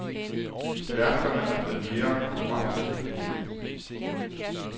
Værfterne er blevet mere konkurrencedygtige.